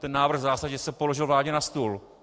Ten návrh v zásadě se položil vládě na stůl.